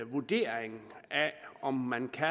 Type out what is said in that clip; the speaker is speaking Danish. vurdering af om man kan